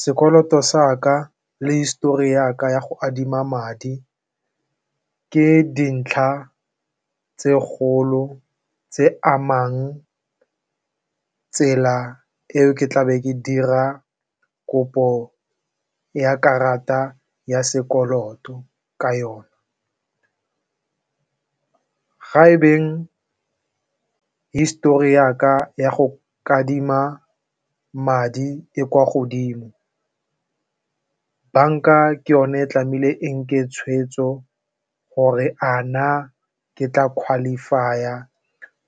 Sekoloto sa ka le histori ya ka ya go adima madi ke dintlha tse kgolo tse amang tsela eo ke tla be ke dira kopo ya karata ya sekoloto ka yone. Ga e beng histori ya ka ya go kadima madi e kwa godimo, banka ke yone tlameile e nke tshweetso gore a na ke tla qualify-a